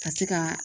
Ka se ka